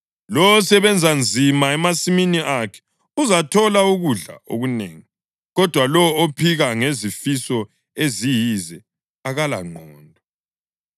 Lowo osebenza nzima emasimini akhe uzathola ukudla okunengi, kodwa lowo ophika ngezifiso eziyize akalangqondo.